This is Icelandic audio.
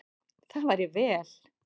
Það væri vel.